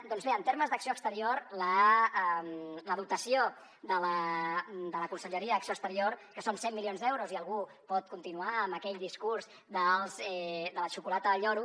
doncs bé en termes d’acció exterior la dotació de la conselleria d’acció exterior que són cent milions d’euros i algú pot continuar amb aquell discurs de la xocolata del lloro